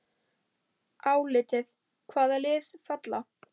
Álitið: Hvaða lið falla?